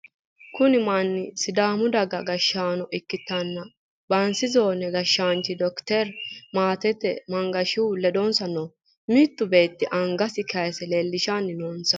Kuni manni sidaamu daga gashshaano ikkitanna bansi zoone gashshaanchino doctor Maatte Mangashihu ledonsa noo. Mittu beettino angasi kayiise leellishanni noonsa.